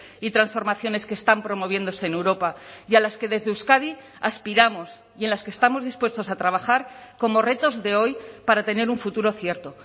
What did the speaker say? y transformaciones que están promoviéndose en europa y a las que desde euskadi aspiramos y en las que estamos dispuestos a trabajar como retos de hoy para tener un futuro cierto